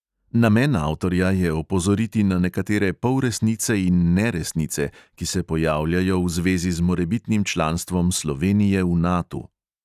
Namen avtorja je opozoriti na nekatere polresnice in neresnice, ki se pojavljajo v zvezi z morebitnim članstvom slovenije v natu.